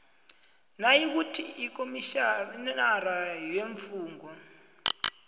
nayikuthi ukomitjhinara weemfungo